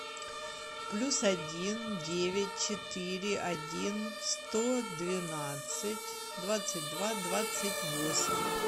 плюс один девять четыре один сто двенадцать двадцать два двадцать восемь